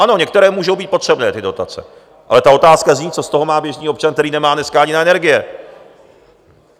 Ano, některé můžou být potřebné, ty dotace, ale ta otázka zní, co z toho má běžný občan, který nemá dneska ani na energie!